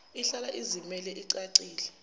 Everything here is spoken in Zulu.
ihlala izimele icacile